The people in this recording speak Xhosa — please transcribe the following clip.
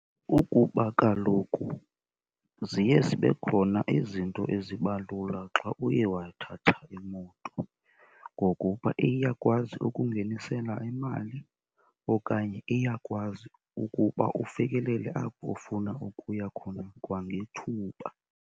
Kukuba kaloku ziye zibe khona izinto eziba lula xa uye wathatha imoto, ngokuba iyakwazi ukungenisela imali okanye iyakwazi ukuba ufikelele apho ufuna ukuya khona kwangethuba.